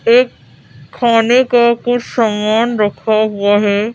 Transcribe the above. एक खाने का कुछ सामान रखा हुआ हैं।